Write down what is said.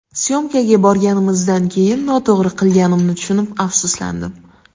Syomkaga borganimizdan keyin noto‘g‘ri qilganimni tushunib, afsuslandim.